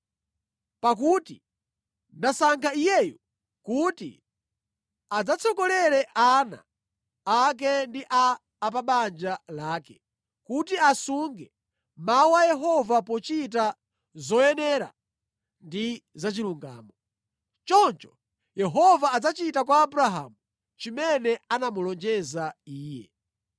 Pakuti ndasankha iyeyu kuti adzatsogolere ana ake ndi a pa banja lake, kuti asunge mawu a Yehova pochita zoyenera ndi zachilungamo. Choncho Yehova adzachita kwa Abrahamu chimene anamulonjeza iye.”